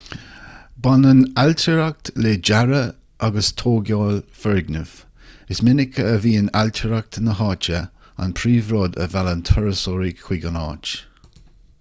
baineann an ailtireacht le dearadh agus tógáil foirgneamh is minic a bhíonn ailtireacht na háite an príomhrud a mheallann turasóirí chuig an áit